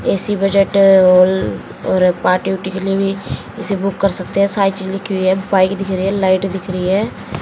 ऐसी बजट ल र पार्टी वार्टी के लिए भी इसे बुक कर सकते है सारी चीज लिखी हुई है बाइक दिख रही है लाइट दिख रही है।